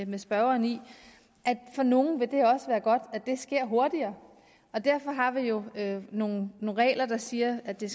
med spørgeren i at for nogle vil det også være godt at det sker hurtigere og derfor har vi jo nogle regler der siger at det